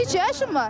Neçə yaşın var?